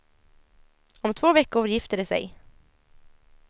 Om två veckor gifter de sig.